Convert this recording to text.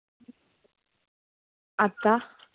आता?